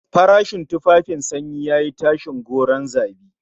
Farashin tufafin sanyi yayi tashin gwauron zabi